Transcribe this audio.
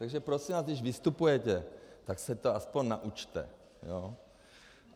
Takže prosím vás, když vystupujete, tak se to aspoň naučte.